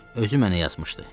Özü mənə yazmışdı.